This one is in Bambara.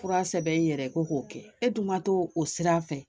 Fura sɛbɛn i yɛrɛ ye ko k'o kɛ e dun ma t'o o sira fɛ.